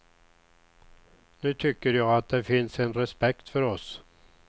Nu tycker jag att det finns en respekt för oss.